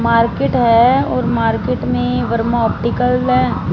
Market है और market में वर्मा ऑप्टिकल है।